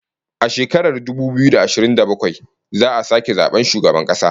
A shekarar dubu biyu da ashirin da bakwai za'a sake zaban shugaban kasa